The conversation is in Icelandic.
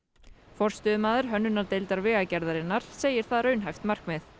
forstöðumaður hönnunardeildar Vegagerðarinnar segir það raunhæft markmið